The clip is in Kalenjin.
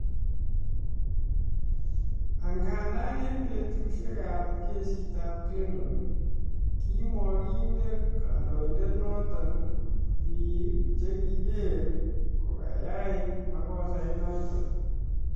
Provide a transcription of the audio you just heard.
Angadam en betushek ab kesit ab Clinton, Kimokotindo kaindondet noton bik chekiger koyae makosait noton